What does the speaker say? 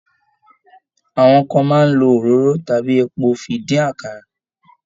Àwọn kan máa ń lo òróró tàbí epo fi dín àkàrà.